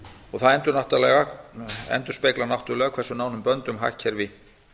og það endurspeglar náttúrlega hversu nánum böndum hagkerfi